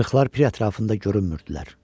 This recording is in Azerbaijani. İşıqlar pir ətrafında görünmürdülər.